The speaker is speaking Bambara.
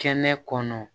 Kɛnɛ kɔnɔ